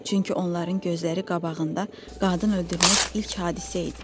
Çünki onların gözləri qabağında qadın öldürmək ilk hadisə idi.